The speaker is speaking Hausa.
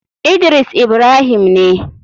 Idris ibrahim ne.